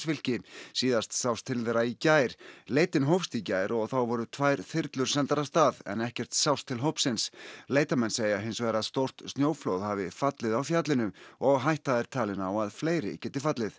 fylki síðast sást til þeirra í gær leitin hófst í gær og þá voru tvær þyrlur sendar af stað en ekkert sást til hópsins leitarmenn segja hins vegar að stórt snjóflóð hafi fallið á fjallinu og hætta er talin á að fleiri geti fallið